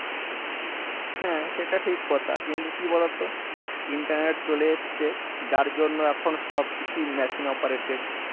হ্যাঁ সেটা ঠিক কথা কিন্তু কি বলোতো internet চলে এসছে যার জন্য এখন সবকিছু machine operated